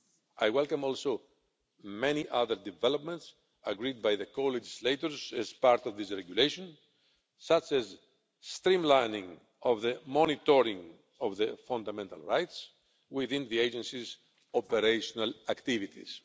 I welcome also many other developments agreed by the co legislators as part of this regulation, such as streamlining of the monitoring of the fundamental rights within the Agency's operational activities.